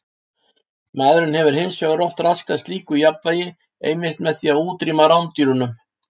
Maðurinn hefur hins vegar oft raskað slíku jafnvægi einmitt með því að útrýma rándýrunum.